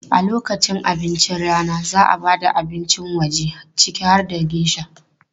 A lokacin abincin rana, za a ba da abincin waje ciki har da geisha.